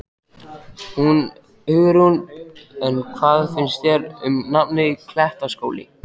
Hugrún: En hvað finnst þér um nafnið, Klettaskóli?